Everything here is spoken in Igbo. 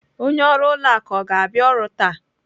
Onye ọrụ ụlọ akụ ọ ga-abịa ọrụ taa?